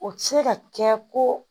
O tɛ se ka kɛ ko